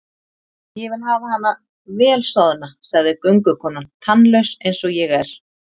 Ég vil hafa hana vel soðna, sagði göngukonan, tannlaus eins og ég er.